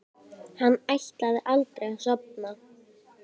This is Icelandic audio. Hann ætlaði aldrei að sofna.